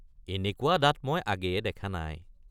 এনেকুৱা দাঁত মই আগেয়ে দেখা নাই।